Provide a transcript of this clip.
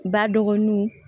Ba dɔgɔninw